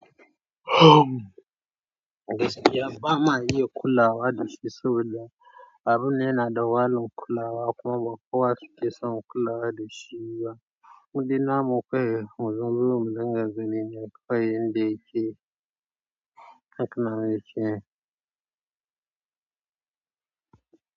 Gaskiya, ba ma iya kulawa da shi sau da. Abin ne na da wahalan kulawa kuma kowa ya cike son kulawa da shi yawa. Mu dina mu kai, hanzu zurum daga ginin ya kai ɗaya ke. Hakan nan yake.